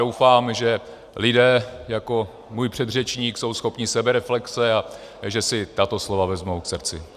Doufám, že lidé jako můj předřečník jsou schopni sebereflexe a že si tato slova vezmou k srdci.